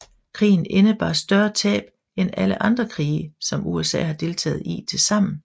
Krigen indebar større tab end alle andre krige som USA har deltaget i tilsammen